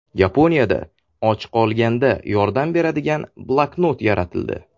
Yaponiyada och qolganda yordam beradigan bloknot yaratildi.